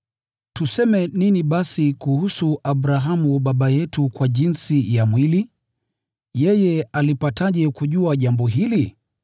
Tuseme nini basi, kuhusu Abrahamu baba yetu kwa jinsi ya mwili: yeye alipataje kujua jambo hili?